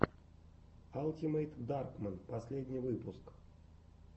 алтимэйтдаркмэн последний выпуск